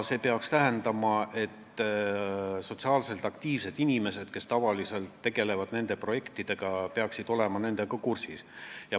See peaks tähendama, et sotsiaalselt aktiivsed inimesed, kes tavaliselt nende projektidega tegelevad, peaksid asjaga kursis olema.